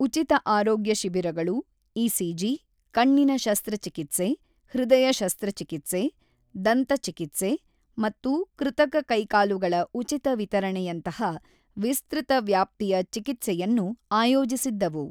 ಉಚಿತ ಆರೋಗ್ಯ ಶಿಬಿರಗಳು ಇಸಿಜಿ, ಕಣ್ಣಿನ ಶಸ್ತ್ರಚಿಕಿತ್ಸೆ, ಹೃದಯ ಶಸ್ತ್ರಚಿಕಿತ್ಸೆ, ದಂತ ಚಿಕಿತ್ಸೆ ಮತ್ತು ಕೃತಕ ಕೈಕಾಲುಗಳ ಉಚಿತ ವಿತರಣೆಯಂತಹ ವಿಸ್ತೃತ ವ್ಯಾಪ್ತಿಯ ಚಿಕಿತ್ಸೆಯನ್ನು ಆಯೋಜಿಸಿದ್ದವು.